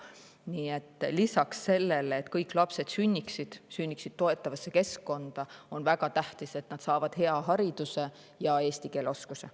Nii et lisaks sellele, et kõik lapsed sünniksid toetavasse keskkonda, on väga tähtis, et nad saavad hea hariduse ja eesti keele oskuse.